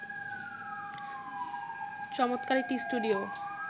চমৎকার একটি স্টুডিও